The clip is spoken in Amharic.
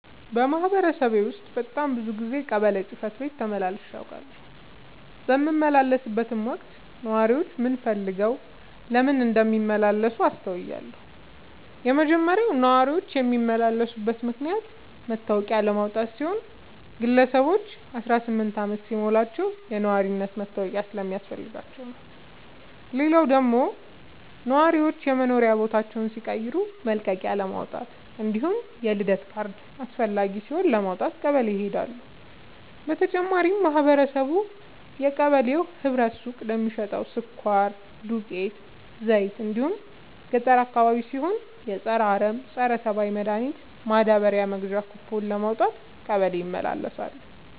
በማህበረሰቤ ውስጥ በጣም ብዙ ጊዜ ቀበሌ ጽህፈት ቤት ተመላልሼ አውቃለሁ። በምመላለስበትም ወቅት ነዋሪዎች ምን ፈልገው ለምን እንደሚመላለሱ አስተውያለሁ የመጀመሪያው ነዋሪዎች የሚመላለሱበት ምክንያት መታወቂያ ለማውጣት ሲሆን ግለሰቦች አስራስምንት አመት ሲሞላቸው የነዋሪነት መታወቂያ ስለሚያስፈልጋቸው ነው። ሌላው ደግሞ ነዋሪዎች የመኖሪያ ቦታ ሲቀይሩ መልቀቂያለማውጣት እንዲሁም የልደት ካርድ አስፈላጊ ሲሆን ለማውጣት ቀበሌ ይሄዳሉ። በተጨማሪም ማህበረቡ የቀበሌው ህብረት ሱቅ ለሚሸተው ስኳር፣ ዱቄት፣ ዘይት እንዲሁም ገጠር አካባቢ ሲሆን የፀረ አረም፣ ፀረተባይ መድሀኒት ማዳበሪያ መግዣ ኩቦን ለማውጣት ቀበሌ ይመላለሳሉ።